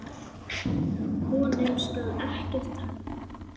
Honum skal ekki takast það!